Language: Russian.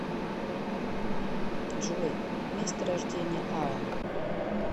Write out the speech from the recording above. джой место рождения аарон